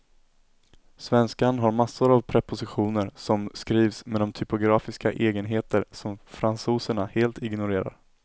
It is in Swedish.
Svenskan har massor av prepositioner som skrivs med de typografiska egenheter som fransoserna helt ignorerar.